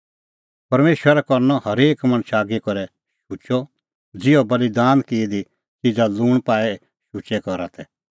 परमेशरा करनअ हरेक मणछ आगी करै शुचअ ज़िहअ बल़ीदान की दी च़िज़ा लूंण पाई शुचै करा तै